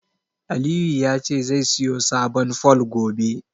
Aliyu ya ce zai siyo sabon fol, gobe.